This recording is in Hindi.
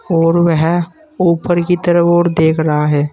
और वह ऊपर की तर ओर देख रहा है।